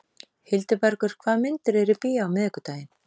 Hildibergur, hvaða myndir eru í bíó á miðvikudaginn?